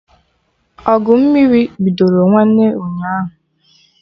Ọgụ mmiri bidoro nwanne ụnyaahụ